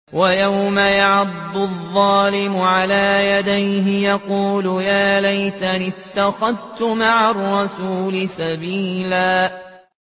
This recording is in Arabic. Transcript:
وَيَوْمَ يَعَضُّ الظَّالِمُ عَلَىٰ يَدَيْهِ يَقُولُ يَا لَيْتَنِي اتَّخَذْتُ مَعَ الرَّسُولِ سَبِيلًا